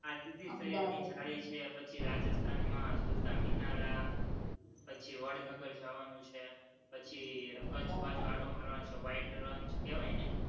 આ સિદીસૈયદની જાળી છે, પછી રાજસ્થાનમાં ઝુલતા મિનારા, પછી વડનગર જવાનું છે, પછી કચ્છ બાજુ આટો મારવાનો છે, white રણ કહેવાય ને,